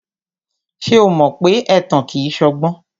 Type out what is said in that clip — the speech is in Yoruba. Ṣé o mọ pé ẹ̀tàn kìí ṣọgbọ́n?